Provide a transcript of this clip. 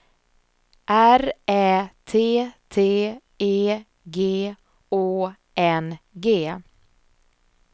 R Ä T T E G Å N G